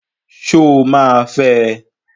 Sọ ma fẹ?